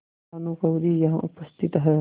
भानुकुँवरि यहाँ उपस्थित हैं